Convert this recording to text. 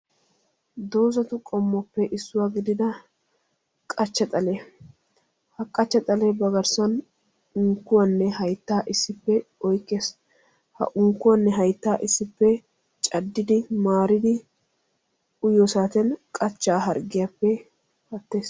Doozatu qoommuwaappe issuwa gidida qachcha xalliyaa ha qachcha xalle ba garssan unkkuwann haytta issippe oykkees; ha unkkuwanne hayttaa issippe cadiddi maaridi uyyiyo saatiyaan qachchaa harggiyaappe pattees